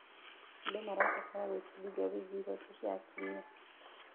Andũ marabatara gwĩbundithia wĩgiĩ ihooto cia atumia.